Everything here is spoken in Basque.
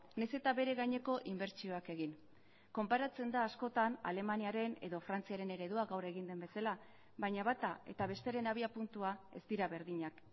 nahiz eta bere gaineko inbertsioak egin konparatzen da askotan alemaniaren edo frantziaren eredua gaur egin den bezala baina bata eta bestearen abiapuntua ez dira berdinak